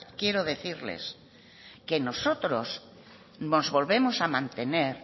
quiero decirles que nosotros nos volvemos a mantener